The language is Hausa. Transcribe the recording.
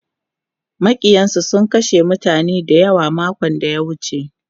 Maƙiyansu sun kashe mutane dayawa makon da ya wuce.